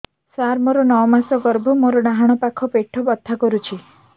ସାର ମୋର ନଅ ମାସ ଗର୍ଭ ମୋର ଡାହାଣ ପାଖ ପେଟ ବଥା ହେଉଛି